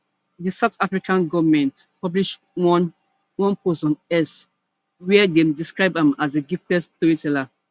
di south african goment publish one one post on x wia dem describe am as a gifted storyteller